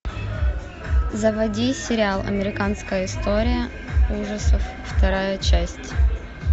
заводи сериал американская история ужасов вторая часть